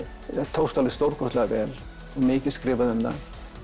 tókst alveg stórkostlega og mikið skrifað um það